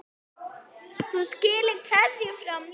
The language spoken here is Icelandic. Þú skilar kveðju frá mér.